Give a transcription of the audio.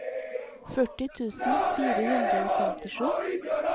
førti tusen fire hundre og femtisju